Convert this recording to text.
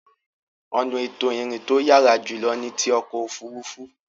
Ọ̀nà ètò ìrìn to yàrá jùlọ ni ti ọkọ̀ òfuurufú.